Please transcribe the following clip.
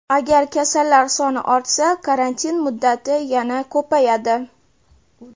Agar kasallar soni ortsa, karantin muddati yana ko‘payadi.